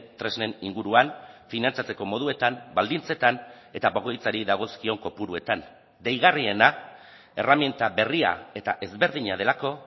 tresnen inguruan finantzatzeko moduetan baldintzetan eta bakoitzari dagozkion kopuruetan deigarriena erreminta berria eta ezberdina delako